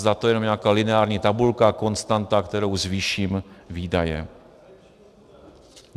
Zda je to jenom nějaká lineární tabulka, konstanta, kterou zvýším výdaje.